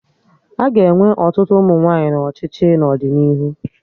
Aga enwe ọtụtụ ụmụ nwaanyị na ọchịchị n'ọdịnihu